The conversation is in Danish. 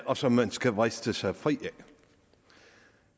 og som man skal vriste sig fri af